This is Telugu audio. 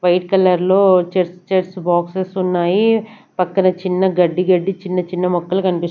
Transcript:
వైట్ కలర్ లో చెస్ చెస్ బాక్సస్ ఉన్నాయి పక్కన చిన్న గడ్డి గడ్డి చిన్న చిన్న మొక్కలు కనిపిస్తు.